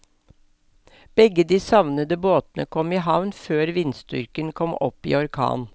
Begge de savnede båtene kom i havn før vindstyrken kom opp i orkan.